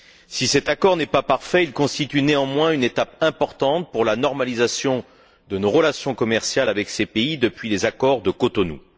Si cet accord n'est pas parfait, il constitue, néanmoins, une étape importante pour la normalisation de nos relations commerciales avec ces pays, depuis les accords de Cotonou.